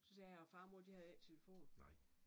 Så sagde jeg og far og mor de havde ikke telefon